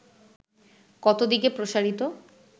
কত দিকে প্রসারিত